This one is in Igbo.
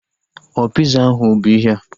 Ọ piza ahu bụ ihea?